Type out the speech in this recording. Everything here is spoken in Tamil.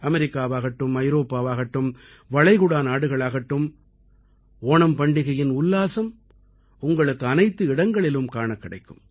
அமெரிக்காவாகட்டும் ஐரோப்பாவாகட்டும் வளைகுடா நாடுகளாகட்டும் ஓணம் பண்டிகையின் உற்சாகம் உங்களுக்கு அனைத்து இடங்களிலும் காணக் கிடைக்கும்